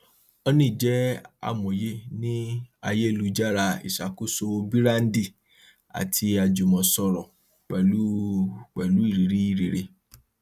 honey jẹ amòye ní ayélujára ìṣàkóso bííràndì àti ajùmòsòrò pẹlú pẹlú irírí rere